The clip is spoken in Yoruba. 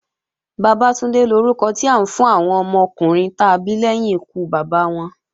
Bàbátúndé lórúkọ tí à ń fún àwọn ọmọkùnrin ta bí lẹ́yìn ikú Bàbá wọn.